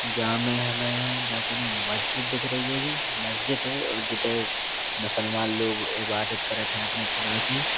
जा में हमे जा कोनों मस्जिद दिख रही हैगी। मस्जिद है जिते मुसलमान लोग इबादत करत है अपने खुदा की।